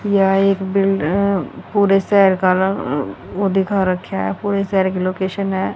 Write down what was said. यह एक बिल्ड अ पूरे शहर का रंग वो दिखा रख्या है पूरे शहर की लोकेशन है।